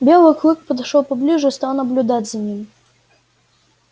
белый клык подошёл поближе и стал наблюдать за ним